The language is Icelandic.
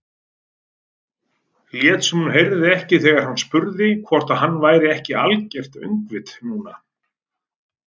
Lét sem hún heyrði ekki þegar hann spurði hvort hann væri ekki algert öngvit núna.